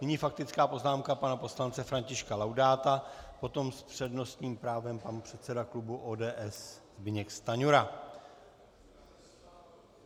Nyní faktická poznámka pana poslance Františka Laudáta, potom s přednostním právem pan předseda klubu ODS Zbyněk Stanjura.